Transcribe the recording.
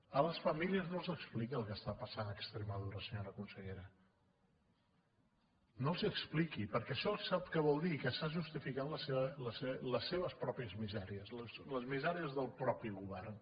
a les famílies no els expliqui el que està passant a extremadura senyora consellera no els hi expliqui perquè això sap què vol dir que està justificant les seves pròpies misèries les misèries del propi govern